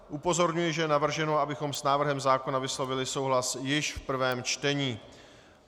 Upozorňuji, že je navrženo, abychom s návrhem zákona vyslovili souhlas již v prvém čtení.